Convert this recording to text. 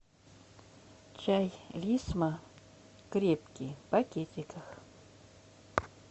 чай лисма крепкий в пакетиках